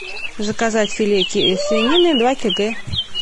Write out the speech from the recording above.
заказать филе свинины два кг